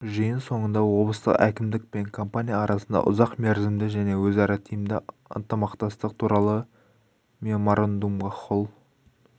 жиын соңында облыстық әкімдік пен компания арасында ұзақ мерзімді және өзара тиімді ынтымақтастық туралы меморандумға қол